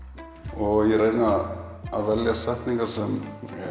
og ég reyni að velja setningar sem